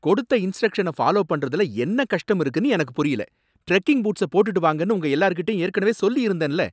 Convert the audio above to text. கொடுத்த இன்ஸ்ட்ரக்ஷன ஃபாலோ பண்றதுல என்ன கஷ்டம் இருக்குனு எனக்கு புரியல, டிரெக்கிங் பூட்ஸ போட்டுட்டு வாங்கன்னு உங்க எல்லார்கிட்டயும் ஏற்கனவே சொல்லியிருந்தேன்ல.